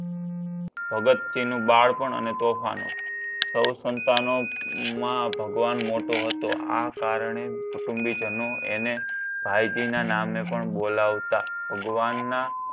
ભગતસિંહનું બાળપણ અને તોફાન સૌ સંતાનોમાં ભગવાન મોટો હતો. આ કારણે કુટુંબીજનો એને ભાઈજીના નામે પણ બોલાવતા ભગવાનના